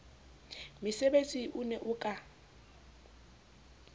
metsebetsi o ne o ka